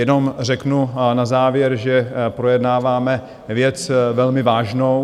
Jenom řeknu na závěr, že projednáváme věc velmi vážnou.